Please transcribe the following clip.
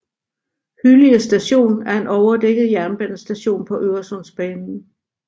Hyllie Station er en overdækket jernbanestation på Øresundsbanen